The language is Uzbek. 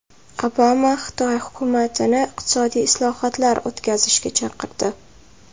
Obama Xitoy hukumatini iqtisodiy islohotlar o‘tkazishga chaqirdi.